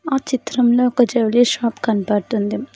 ఆ చిత్రంలో ఒక జూలరీ షాప్ కనబడుతుంది.